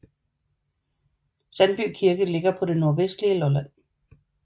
Sandby Kirke ligger på det nordvestlige Lolland